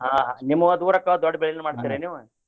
ಆ ನಿಮ್ಮುಗ ದೂರ ಆಕ್ಕಾವ ದೊಡ್ದ್ ಬೆಳಿನು ಮಾಡ್ತೇರ ನೀವು.